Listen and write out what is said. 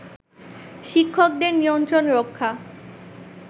শিক্ষকদের নিয়ন্ত্রণ রক্ষা